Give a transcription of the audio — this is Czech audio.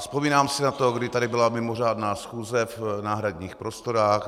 Vzpomínám si na to, kdy tady byla mimořádná schůze v náhradních prostorách.